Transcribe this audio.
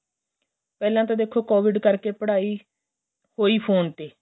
ਪਹਿਲਾਂ ਤਾਂ ਦੇਖੋ ਕੋਵਿਡ ਕਰਕੇ ਪੜਾਈ ਹੋਈ ਫੋਨ ਤੇ